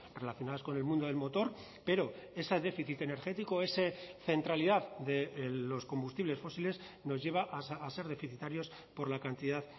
relacionadas con el mundo del motor pero ese déficit energético ese centralidad de los combustibles fósiles nos lleva a ser deficitarios por la cantidad